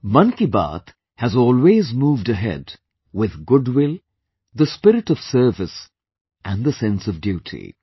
'Mann Ki Baat' has always moved ahead with goodwill, the spirit of servicespirit and the sense of duty